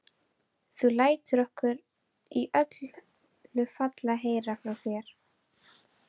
Þú lætur okkur í öllu falli heyra frá þér.